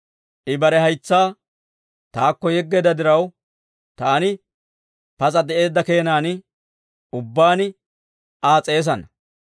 I bare haytsaa taakko yeggeedda diraw, taani pas'a de'eedda keenan ubbaan Aa s'eesana.